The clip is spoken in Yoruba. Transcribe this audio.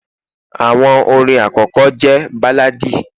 àwọn orin akọkọ je balladi